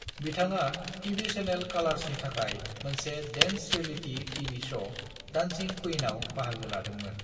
बिथाङा TV channel कालार्सनि थाखाय मोनसे dance reality TV show dancing queen of बाहागो लादोंमोन।